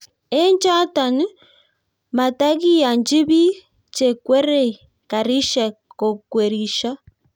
eng choto, matagiyanji biik chekwerie karishek kokwerisho